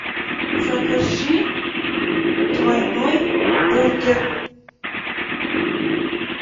закажи двойной бургер